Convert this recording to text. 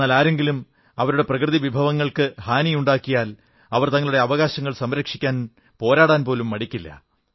എന്നാൽ ആരെങ്കിലും അവരുടെ പ്രകൃതി വിഭവങ്ങൾക്ക് ഹാനി ഉണ്ടാക്കിയാൽ അവർ തങ്ങളുടെ അവകാശങ്ങൾ സംരക്ഷിക്കാൻ പോരാടാനും മടിക്കില്ല